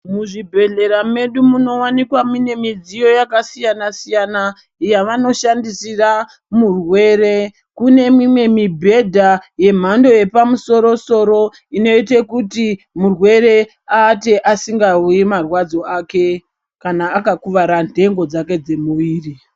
Muzvibhedhlera medu munowanikwa mune midziyo yakasiyana siyana yavanoshandisira murwere kune mimwe mibhedha yemhando yepamusoro soro inote kuti murwere aate asingazwi marwadzo ake aka akakuwara ntengo dzake dzemwiri.